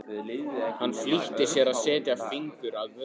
Hann flýtti sér að setja fingur að vörum.